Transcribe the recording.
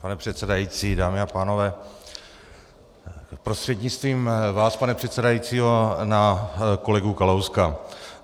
Pane předsedající, dámy a pánové, prostřednictvím vás, pane předsedající, na kolegu Kalouska.